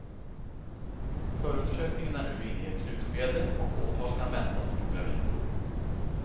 Förundersökningen är nu inne i ett slutskede och åtal kan väntas om några veckor.